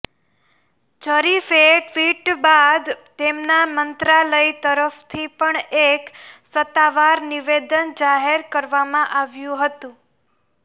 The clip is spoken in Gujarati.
જરીફે ટ્વિટ બાદ તેમના મંત્રાલય તરફથી પણ એક સત્તાવાર નિવેદન જાહેર કરવામાં આવ્યું હતું